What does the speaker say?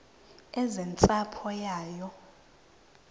eze nentsapho yayo